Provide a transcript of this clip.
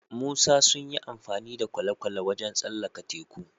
Musa sunyi amfani da kwale kwale wajan tsallaka teku